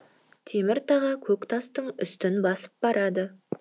темір таға көк тастың үстін басып барады